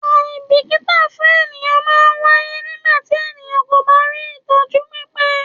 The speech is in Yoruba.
Àìbìkítà fún ènìyàn man ń wáyé nígbàtí ènìyàn kò bá rí ìtọ́jú pípé